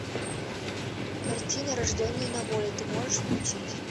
картина рожденные на воле ты можешь включить